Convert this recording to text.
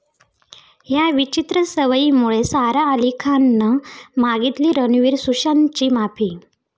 या' विचित्र सवयीमुळे सारा अली खाननं मागितली रणवीर, सुशांतची माफी